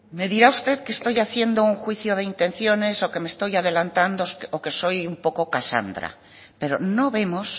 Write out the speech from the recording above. me dirá usted que estoy haciendo un juicio de intenciones o que me estoy adelantando o que soy un poco casandra pero no vemos